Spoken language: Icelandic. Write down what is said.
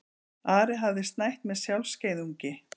Ari hafði snætt með sjálfskeiðungi.